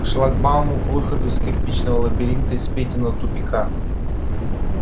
к шлагбауму к выходу из кирпичного лабиринта из петиного тупика